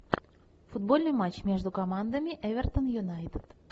футбольный матч между командами эвертон юнайтед